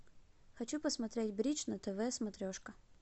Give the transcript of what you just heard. хочу посмотреть бридж на тв смотрешка